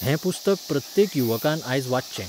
हें पुस्तक प्रत्येक युवकान आयज वाचचें.